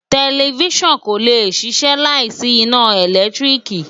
Tẹlifísàn kò lè ṣiṣẹ́ láì sí iná ìlẹ́tríìkì